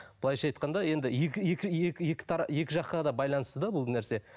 былайынша айтқанда енді екі жаққа да байланысты да бұл нәрсе